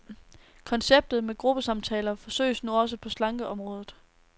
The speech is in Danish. Konceptet med gruppesamtaler forsøges nu også på slankeområdet.